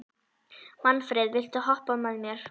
Manfreð, viltu hoppa með mér?